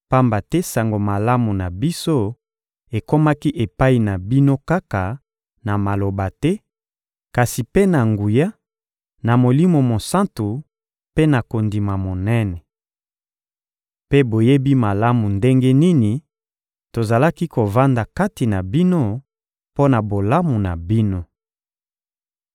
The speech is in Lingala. pamba te Sango Malamu na biso ekomaki epai na bino kaka na maloba te, kasi mpe na nguya, na Molimo Mosantu mpe na kondima monene. Mpe boyebi malamu ndenge nini tozalaki kovanda kati na bino mpo na bolamu na bino.